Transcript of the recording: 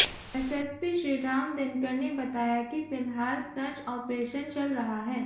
SSP Shriram Dinkar ने बताया कि फिलहाल सर्च ऑपरेशन चल रहा है